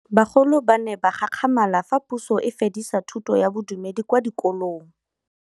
Bagolo ba ne ba gakgamala fa Pusô e fedisa thutô ya Bodumedi kwa dikolong.